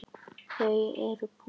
Þau eru búsett í Sviss.